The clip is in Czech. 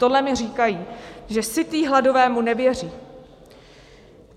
Tohle mi říkají, že sytý hladovému nevěří.